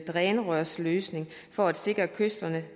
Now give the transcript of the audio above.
drænrørsløsning for at sikre kysterne